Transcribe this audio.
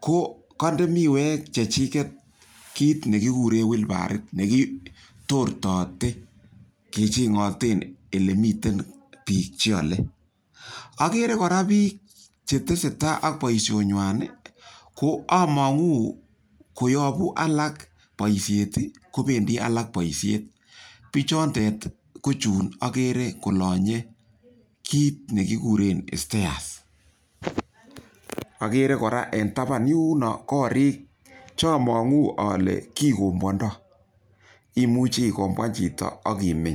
ko ka inde miwek che chiket kiit ne kikure wheelbarrow ne kikotortaate kechang'ete ole mi pik che ale. Akere kora pik che tese tai ak poishonywan ko amang'u koyapu alak poishet, kopendi alak poishet. Pichotet kp chun akere kolanye kit ne kikuren stairs. Akere kora en tapan yun koriik che amang'u ale kikimbwandai. Imuchi ikombwan chito ak imeny.